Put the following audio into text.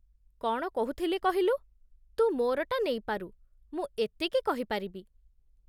କ'ଣ କହୁଥିଲି କହିଲୁ! ତୁ ମୋ'ରଟା ନେଇପାରୁ, ମୁଁ ଏତିକି କହିପାରିବି ।